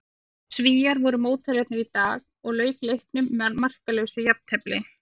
Svíar voru mótherjarnir í dag og lauk leiknum með markalausu jafntefli.